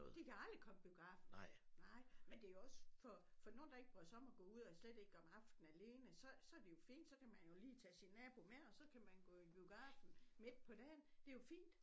De kan aldrig komme i biografen nej men det jo også for for nogen der ikke bryder sig om at gå ud og slet ikke om aftenen alene så så det jo fint så kan man jo lige tage sin nabo med og så kan man gå i biografen midt på dagen det jo fint